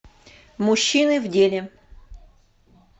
мужчины в деле